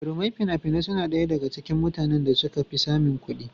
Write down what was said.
Jarumai fina-finai suna ɗaya daga cikin mutanen da suka fi samun kuɗi.